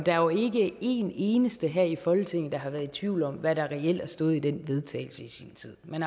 er jo ikke en eneste her i folketinget der har været i tvivl om hvad der reelt stod i den vedtagelse i sin tid men